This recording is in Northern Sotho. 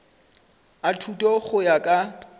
a thuto go ya ka